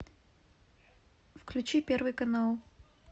включи первый канал